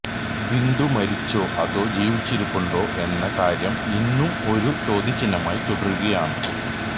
ബിന്ദു മരിച്ചോ അതോ ജീവിച്ചിരിപ്പുണ്ടോ എന്ന കാര്യം ഇന്നും ഒരു ചോദ്യചിഹ്നമായി തുടരുകയാണ്